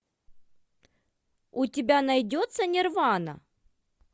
у тебя найдется нирвана